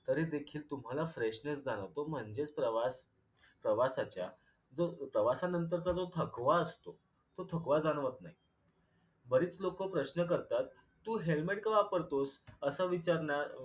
तरी देखील तुम्हाला फ्रेशनेस जाणवतो म्हणजेच प्रवास प्रवासाच्या जो प्रवासानंतरचा जो थकवा असतो तो थकवा जाणवत नाही. बरीच लोक प्रश्न करतात तू helmet का वापरतोस? अस विचारणार